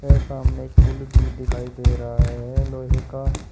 के सामने एक पुल भी दिखाई दे रहा है लोहे का।